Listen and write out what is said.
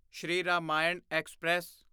Shri Ramayan express